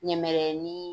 Ɲɛmɛrɛ ni